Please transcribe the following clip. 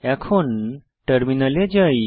এখন টার্মিনালে যাই